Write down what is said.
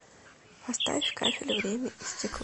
поставь кафель время и стекло